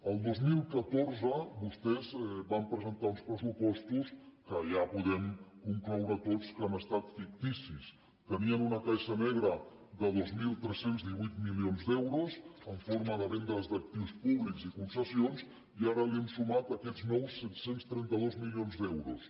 el dos mil catorze vostès van presentar uns pressupostos que ja podem concloure tots que han estat ficticis tenien una caixa negra de dos mil tres cents i divuit milions d’euros en forma de vendes d’actius públics i concessions i ara hi hem sumat aquests nous set cents i trenta dos milions d’euros